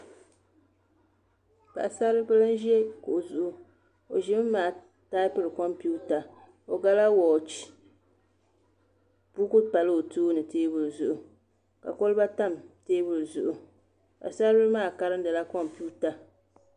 Paɣasaribili n ʒi kuɣu zuɣu o ʒimi maa taapiri kompiuta o gala wooch buku pala o tooni teebuli zuɣu ka kolba tam teebuli zuɣu paɣasari bili maa karindila kompiuta